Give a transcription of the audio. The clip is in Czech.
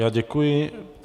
Já děkuji.